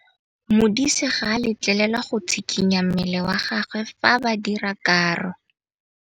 Modise ga a letlelelwa go tshikinya mmele wa gagwe fa ba dira karô.